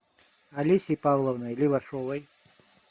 алесей павловной левашовой